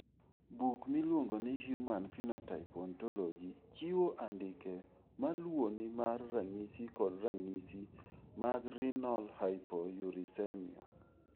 Buk miluongo ni Human Phenotype Ontology chiwo andike ma luwoni mar ranyisi kod ranyisi mag Renal hypouricemia.